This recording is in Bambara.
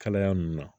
Kalaya nunnu na